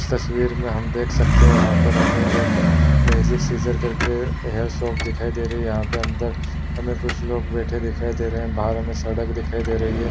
इस तस्वीर मे हम देख सकते है यहाँ पर हमें एक मैंजिक सिसर कर के हेयर शॉप दिखाई दे रही है यहाँ पे अदर हमें कुछ लोग बेठे दिखाई दे रहे है बाहर हमें सड़क दिखाई दे रही है।